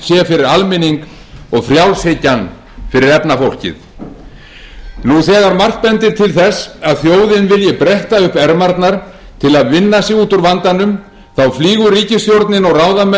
fyrir almenning og frjálshyggjan fyrir efnafólkið nú þegar margt bendir til þess að þjóðin vilji bretta upp ermarnar til að vinna sig út úr vandanum flýgur ríkisstjórnin og ráðamenn um veröldina í